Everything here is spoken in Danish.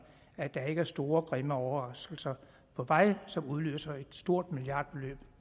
at der er store og grimme overraskelser på vej som vil udløse et stort milliardbeløb